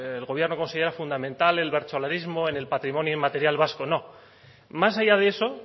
el gobierno considera fundamental el bertsolarismo en el patrimonio inmaterial vasco no más allá de eso